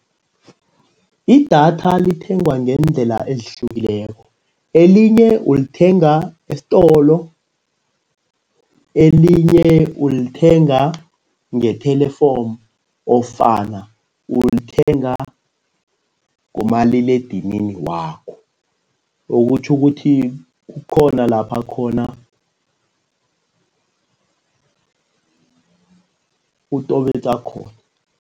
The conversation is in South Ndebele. Idatha lithengwa ngeendlela ezihlukileko. Elinye ulithenga esitolo, elinye ulithenga ngethelefomu ofana ulithenga ngomaliledinini wakho. Okutjho ukuthi kukhona lapha khona utobetsa khona.